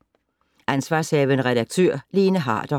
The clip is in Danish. Ansv. redaktør: Lene Harder